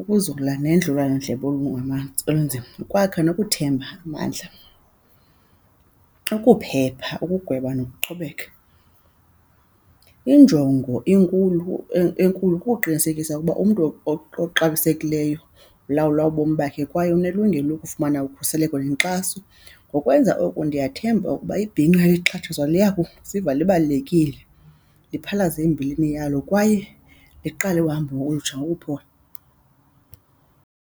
ukuzola nendliwanondlebe olunzima, ukwakha nokuthemba amandla, ukuphepha ukugweba nokuqhubeka. Injongo inkulu enkulu kukuqinisekisa ukuba umntu oxabisekileyo ulawula ubomi bakhe kwaye unelungelo lokufumana ukhuseleko nenkxaso. Ngokwenza oku ndiyathemba ukuba ibhinqa elixhatshazwayo liya kuziva libalulekile, liphalaze imbilini yalo kwaye liqale uhamba olukutsha ngokuphola.